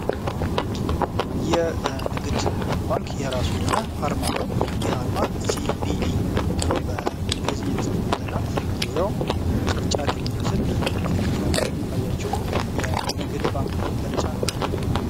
የንግድ ባንክ የራሱ የሆነ አርማ ለው ይህ አርማ ሲ.ቢ.ኢ ብሎ በእንግሊዝኛ የተጸፍበት እና ዙሪያው ቅርጫት የሚመስል ምልክት ያለው ታያችሁ የንግድ ባንክ መገለጫ ነው።